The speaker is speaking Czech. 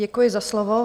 Děkuji za slovo.